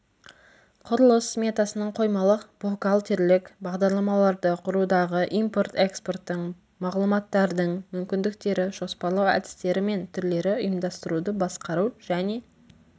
құрылыс сметасының қоймалық бухгалтерлік бағдарламаларды құрудағы импорт-экспорттың мағлұматтардың мүмкіндіктері жоспарлау әдістері мен түрлері ұйымдастыруды басқару және